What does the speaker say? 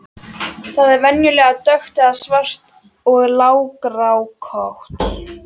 Það er venjulega dökkt eða svart og langrákótt.